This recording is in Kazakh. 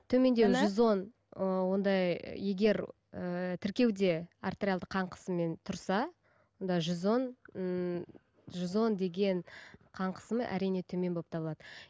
жүз он і онда егер ііі тіркеуде артериалды қан қысымымен тұрса онда жүз он ііі жүз он деген қан қысымы әрине төмен болып табылады